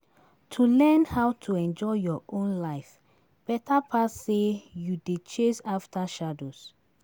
To learn how to enjoy your own life beta pass sey you dey chase after shadows.